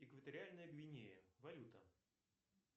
экваториальная гвинея валюта